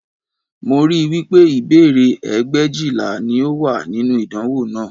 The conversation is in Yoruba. Mo rí i wí pé ìbéèrè ẹgbẹ̀éjìlá ni ó wà nínú ìdánwò náà